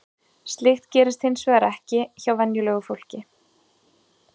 Slíkt gerist hins vegar ekki hjá venjulegu fólki.